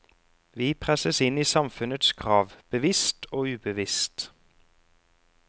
Vi presses inn i samfunnets krav, bevisst og ubevisst.